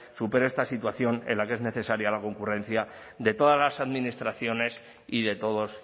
superen esta situación en la que es necesaria la concurrencia de todas las administraciones y de todos